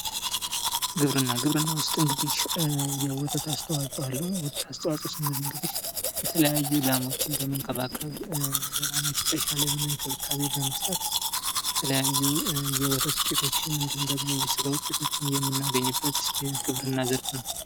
ግብርና ፦ ግብርና ውስጥ እንግዲህ የወተት አስተዋጽኦ አለው ። የወተት አስተዋጽኦ ስንል እንግዲህ የተለያዩ ላሞችን በመንከባከብ ፣ ለላሞች የተሻለ የሆነ እንክብካቤ በመስጠት የተለያዩ የወተት ውጤቶችን እንዲሁም የስጋ ውጤቶችን የምናገኝበት የግብርና ዘርፍ ነው ።